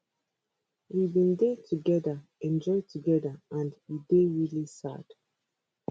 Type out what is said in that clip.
we bin dey togeda enjoy togeda and e dey really sad